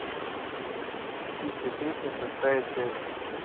птичья песня шестая часть